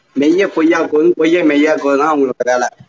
மெய்யை பொய்யாக்குவதும் பொய்யை மெய்யாக்குவதும் தான் அவங்களோட வேலை